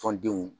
Tɔndenw